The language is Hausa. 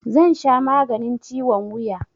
Zan sha maganin ciwon wuya